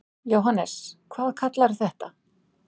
Jóhannes: Hvað kallarðu þetta?